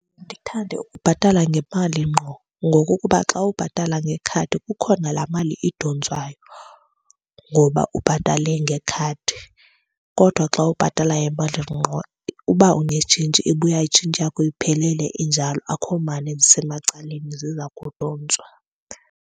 Ndithande ukubhatala ngemali ngqo ngokukuba xa ubhatala ngekhadi, kukho nala mali idontswayo ngoba ubhatale ngekhadi. Kodwa xa ubhatala ngemali ngqo uba unetshintshi ibuya itshintshi yakho iphelele injalo, akho mali ezisemacaleni ziza kudontswa.